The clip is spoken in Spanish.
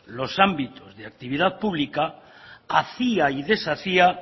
los ámbitos de actividad pública hacía y deshacía